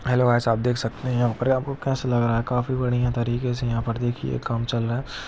Hello guys आप देख सकते हैं यहाँ पर आपको को कैसा लग रहा हैकाफी बढ़िया तरीके से देखिये यहाँ पर काम चल रहा है ।